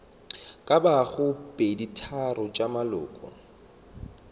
ka bago peditharong tša maloko